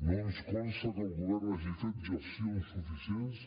no ens consta que el govern hagi fet gestions suficients